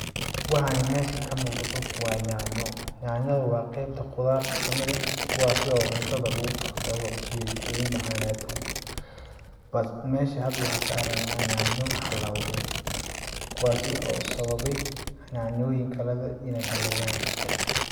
Waxani mesha kamuqdo waa nyaanyo nyanyada waa qebta qudarta kamid ah kuwaasi oo cuntada lagu karsado si ay oogu macanaato, balse mesha hada waxaa ka aragnaa nyaanya halawdey kuwaasi oo sababey nyaanyoyin kale inay hakeyaan.